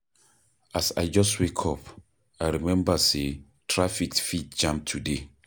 As I just wake up, I remember sey traffic fit jam today.